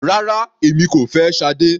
Rárá, èmi kò fẹ́ Sade.